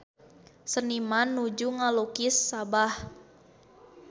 Seniman nuju ngalukis Sabah